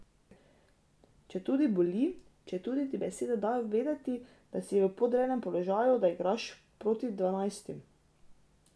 Četudi boli, četudi ti besede dajo vedeti, da si v podrejenem položaju, da igraš proti dvanajstim.